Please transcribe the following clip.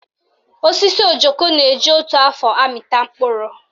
Osisi ojoko na-eji otu afọ amịta mkpụrụ